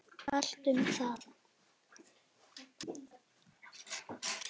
Allt um það.